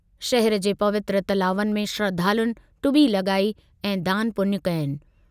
शहिर जे पवित्र तलावनि में श्रधालुनि टुॿी लॻाई ऐं दानु पुञु कयनि।